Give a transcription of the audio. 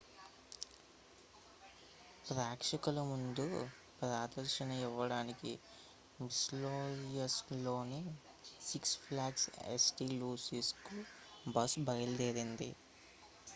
ప్రేక్షకుల ముందు ప్రదర్శన ఇవ్వడానికి missouriలోని six flags st. louisకు బస్సు బయలుదేరింది